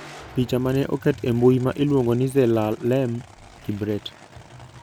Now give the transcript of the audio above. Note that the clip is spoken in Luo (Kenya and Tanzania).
Picha ma ne oket e mbui ma iluongo ni Zelalem Kibret.